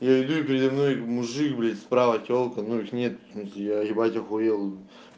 я иду перед домной мужик блять справа телка но их нет я ебать ахуел